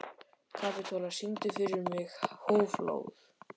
Kapitola, syngdu fyrir mig „Háflóð“.